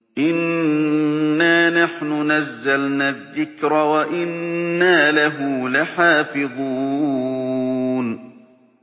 إِنَّا نَحْنُ نَزَّلْنَا الذِّكْرَ وَإِنَّا لَهُ لَحَافِظُونَ